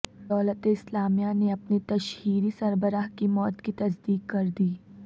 دولت اسلامیہ نے اپنے تشہیری سربراہ کی موت کی تصدیق کردی